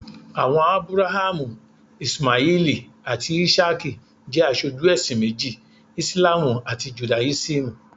Àwọn Ábúráhámù, Íṣímáẹ́lì àti Ísákì jẹ́ aṣojú ẹ̀sìn méjì, Ìsìlámù àti Judáísímù.